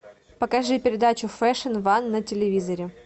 покажи передачу фэшн ван на телевизоре